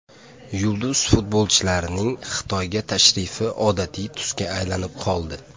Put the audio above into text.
Yulduz futbolchilarning Xitoyga tashrifi odatiy tusga aylanib qoldi.